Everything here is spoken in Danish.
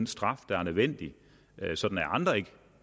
straf der er nødvendig så andre ikke